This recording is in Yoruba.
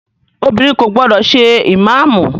Obìnrin kò gbọdọ̀ ṣe ìmáàmù!